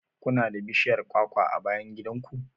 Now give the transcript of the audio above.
Ku na da bishiyar kwakwa a bayan gidan ku?